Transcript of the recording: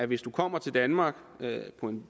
hvis du kommer til danmark